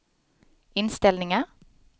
inställningar